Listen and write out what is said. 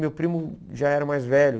Meu primo já era mais velho.